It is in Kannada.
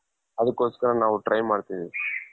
ಅದುಕ್ನಾಕೋಸ್ಕರ ನಾವು try ಮಾಡ್ತಿದ್ದೀವಿ.